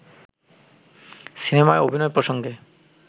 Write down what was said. সিনেমায় অভিনয় প্রসঙ্গে